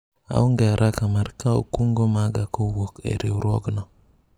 aonge araka mar kawo kungo maga kowuok e riwruogno